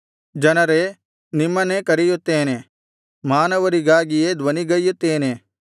ಜನರೇ ನಿಮ್ಮನ್ನೇ ಕರೆಯುತ್ತೇನೆ ಮಾನವರಿಗಾಗಿಯೇ ಧ್ವನಿಗೈಯುತ್ತೇನೆ